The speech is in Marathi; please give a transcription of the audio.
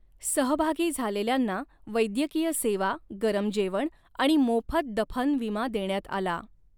सहभागी झालेल्यांना वैद्यकीय सेवा, गरम जेवण आणि मोफत दफन विमा देण्यात आला.